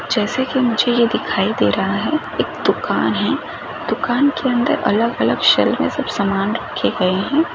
जेसे की मुझे ये दिखाई दे रहा है एक दुकान है दुकान के अन्दर अलग अलग शैल में सब सामान रखे गए है।